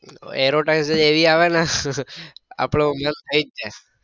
aerotise જ એવી આવે ને આપડો મન થઇ જ જાય